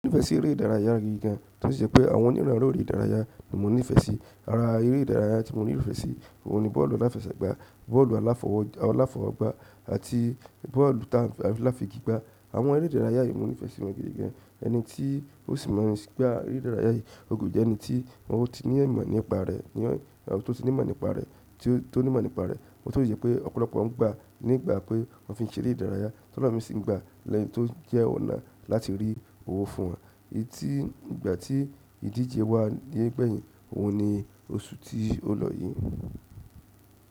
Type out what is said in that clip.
Mo nífẹ̀ẹ́ sí eré ìdárayá gidi gan, tosí jẹ́ pé àwọn oníran lórí eré ìdárayá ni mo nífẹ̀ẹ́ sí. Ara eré ìdárayá tí mo nífẹ̀ẹ́ sí òun ni bọ́ọ̀lù aláfẹsẹ̀gbá, bọ́ọ̀lù aláfọwọ́gbá àti bọ́ọ̀lù táa n fi- aláfi igi gbá. Àwọn eré ìdárayá yìí mo nífẹ̀ẹ́ sí wọn gidi gan. Ẹni tí ó sì máa ń gbá eré ìdárayá yìí o gbudo jẹ́ ẹni tí ó ti ní ìmọ̀ nípa rẹ̀, ní to ti ní ìmọ̀ nípa rẹ̀, tí ó ní ìmọ̀ nípa rẹ̀. O tun le jẹ pé ọ̀pọ̀lọpọ̀ ń gbá nígbà pé wọ́n fi ń ṣeré ìdárayá, ti elomi sì ń gbá lẹ́yì tó jẹ́ ọ̀nà láti rí owó fún wọn. Èyí tí ìgbà tí ìdíje wà yé gbẹ̀yìn, òun ni oṣù tí ó lọ yìí.